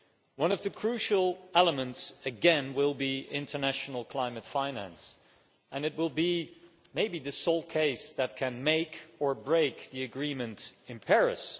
One of the crucial elements, again, will be international climate finance, and it will maybe be the sole case that can make or break the agreement in Paris.